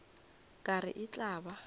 ka re e tla ba